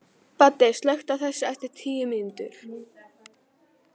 Baddi, slökktu á þessu eftir tíu mínútur.